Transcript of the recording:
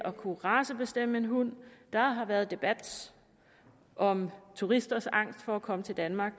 at kunne racebestemme en hund der har været en debat om turisters angst for at komme til danmark